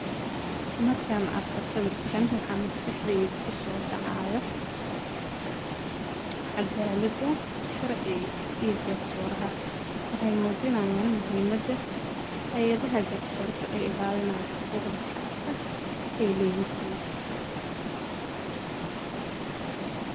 Markan arko sawirkan waxa maskaxdey kuso dhacaayo caadalada sharci iyo garsoorha, waxay muujinayan muhiimada hayadaha garsoorka ee illalinayo xaquqda shacabka ey leyihiin